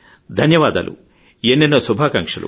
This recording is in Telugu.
ధన్యవాదాలు ఎన్నెన్నో శుభాకాంక్షలు